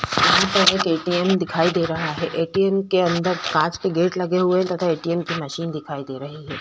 यहाँ पर एक ए. टी. एम. दिखाई दे रहा है ए. टी. एम. के अंदर कांच के गेट लगे हुए है तथा ए. टी. एम. की मशीन दिखाई दे रही है।